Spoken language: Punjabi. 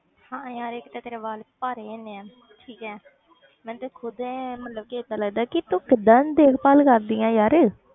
ਹਾਂ ਯਾਰ ਇੱਕ ਤੇ ਤੇਰੇ ਵਾਲ ਭਾਰੇ ਇੰਨੇ ਹੈ ਠੀਕ ਹੈ ਮੈਨੂੰ ਤੇ ਖੁੱਦ ਮਤਲਬ ਕਿ ਏਦਾਂ ਲੱਗਦਾ ਕਿ ਤੂੰ ਕਿੱਦਾਂ ਦੇਖਭਾਲ ਕਰਦੀ ਹੈ ਯਾਰ।